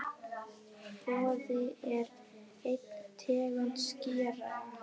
Boði: er ein tegund skerja.